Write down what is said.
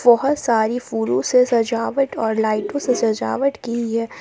बहुत सारी फूलों से सजावट और लाइटों से सजावट की गई है।